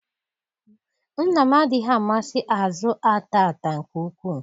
Nna m adịghị amasị azụ ata ata nke ukwuu.